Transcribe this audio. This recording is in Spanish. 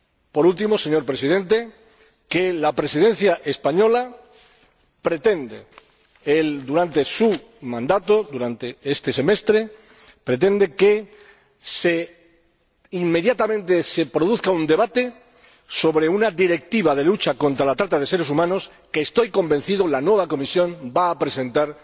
Por último, señor Presidente, la Presidencia española pretende, durante su mandato, durante este semestre, que inmediatamente se produzca un debate sobre una Directiva de lucha contra la trata de seres humanos que estoy convencido la nueva Comisión va a presentar